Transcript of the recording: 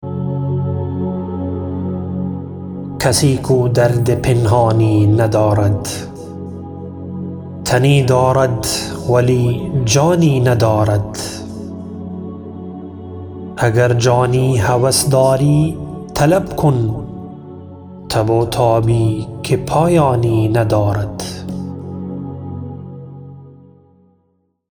کسی کو درد پنهانی ندارد تنی دارد ولی جانی ندارد اگر جانی هوس داری طلب کن تب و تابی که پایانی ندارد